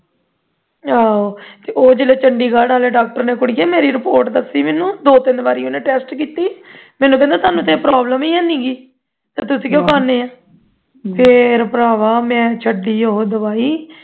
ਆਹੋ ਉਹ chandigarh ਵਾਲੇ doctor ਨੇ ਕੁੜੀਏ ਮੇਰੀ report ਦੱਸੀਂ ਮੈਨੂੰ ਦੋ ਤਿੰਨ ਵਾਰੀ ਉਹਨੇ test ਕੀ ਤੀ ਮੈਨੂੰ ਕਹਿੰਦਾ ਤੁਹਾਨੂੰ ਤੇ ਇਹ problem ਹੀ ਨਹੀਂ ਸੀ ਤੁਸੀਂ ਕਿਉਂ ਖਾਂਦੇ ਹੋ ਫੇਰ ਭਰਾਵਾਂ ਮੈਂ ਉਹ ਛੱਡੀ ਉਹ ਦਵਾਈ